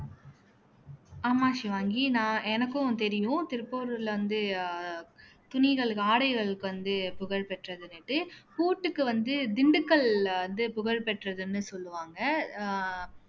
ஆமா ஷிவாங்கி நான் எனக்கும் தெரியும் திருப்பூர்ல வந்து அஹ் துணிகளுக்கு ஆடைகளுக்கு வந்து புகழ் பெற்றதுன்னுட்டு பூட்டுக்கு வந்து திண்டுக்கல்ல வந்து புகழ் பெற்றதுன்னு சொல்லுவாங்க ஆஹ்